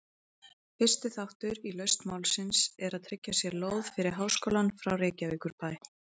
Fyrsti þáttur í lausn málsins er að tryggja sér lóð fyrir háskólann frá Reykjavíkurbæ.